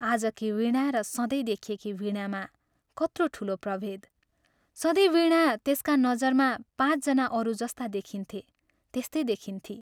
आजकी वीणा र सधैँ देखिएकी वीणामा कत्रो ठूलो प्रभेद सधैँ वीणा त्यसका नजरमा पाँच जना अरू जस्ता देखिन्थे त्यस्तै देखिन्थी!